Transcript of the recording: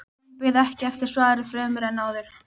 Hún beið ekki eftir svari fremur en áður.